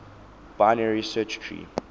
binary search tree